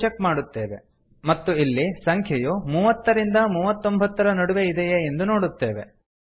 ಎಂದು ಚೆಕ್ ಮಾಡುತ್ತೇವೆ ಮತ್ತು ಇಲ್ಲಿ ಸಂಖ್ಯೆಯು ಮೂವತ್ತರಿಂದ ಮೂವತ್ತೊಂಭತ್ತರ ನಡುವೆ ಇದೆಯೇ ಎಂದು ನೋಡುತ್ತೇವೆ